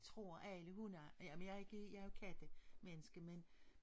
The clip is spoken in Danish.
Tror alle hundejere jeg men jeg ikke jeg er jo kattemenneske men